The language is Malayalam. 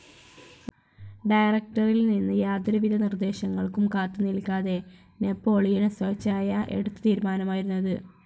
ഡയറക്റ്ററിയിൽ നിന്ന് യാതൊരു വിധ നിർദ്ദേശങ്ങൾക്കും കാത്തു നില്ക്കാതെ നാപ്പോളിയൻ സ്വേച്ഛയാ എടുത്ത തീരുമാനമായിരുന്നു ഇത്.